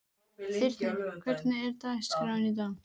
Þyrnir, hvernig er dagskráin í dag?